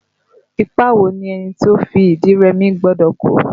Ipa wo ni ẹni tó fi ìdí rẹmi gbọ́dọ̀ kó?